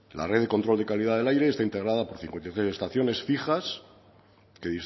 la red de control de calidad del aire está integrada por cincuenta y tres estaciones fijas que